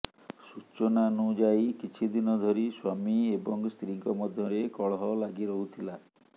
ସୂଚନାନୁଯାୟୀ କିଛିଦିନ ଧରି ସ୍ବାମୀ ଏବଂ ସ୍ତ୍ରୀଙ୍କ ମଧ୍ୟରେ କଳହ ଲାଗିରହୁଥିଲା